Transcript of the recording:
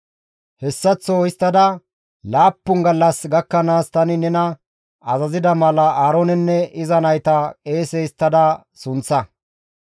«Hessaththo histtada Laappun gallas gakkanaas tani nena azazida mala Aaroonenne iza nayta qeese histtada sunththa.